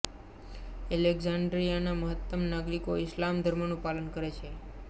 એલેક્ઝાન્ડેરિયાના મહત્તમ નાગરીકો ઈસ્લામ ધર્મનું પાલન કરે છે